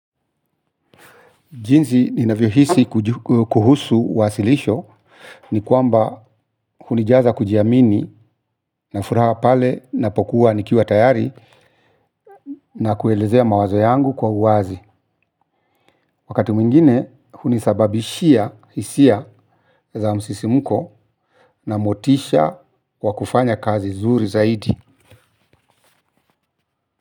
Jinzi ninavyo hisi kuhusu wasilisho ni kwamba hunijaza kujiamini na furaha pale na pokuwa nikiwa tayari na kuelezea mawazo yangu kwa uazi. Wakati mwingine hunisababishia hisia za msisimko na motisha kwa kufanya kazi zuri zaidi.